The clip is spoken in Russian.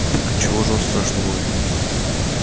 так отчего же он страшно воет